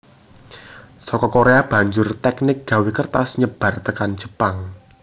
Saka Korea banjur teknik gawé kertas nyebar tekan Jepang